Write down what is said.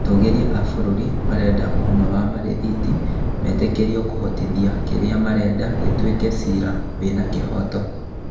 Atũgĩria a bũrũri marenda ũũma wa marithiti metĩkĩrio kũhotithia kĩrĩa marenda gĩtuĩke ciira wĩna kĩhooto